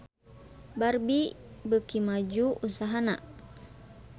Barbie beuki maju usahana